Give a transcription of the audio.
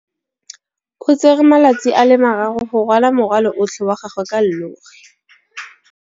O tsere malatsi a le marraro go rwala morwalo otlhe wa gagwe ka llori.